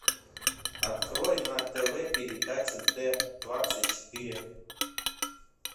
открой на тв передачу т двадцать четыре